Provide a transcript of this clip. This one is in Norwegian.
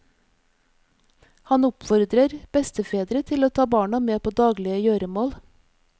Han oppfordrer bestefedre til å ta barna med på daglige gjøremål.